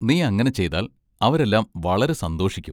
നീ അങ്ങനെ ചെയ്താൽ അവരെല്ലാം വളരെ സന്തോഷിക്കും.